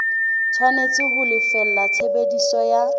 tshwanetse ho lefella tshebediso ya